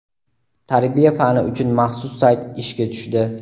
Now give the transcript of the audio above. "Tarbiya" fani uchun maxsus sayt ishga tushdi.